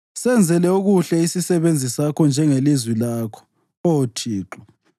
Senzele okuhle isisebenzi sakho njengelizwi lakho, Oh Thixo.